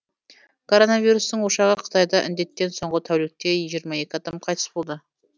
коронавирустың ошағы қытайда індеттен соңғы тәулікте жиырма екі адам қайтыс болды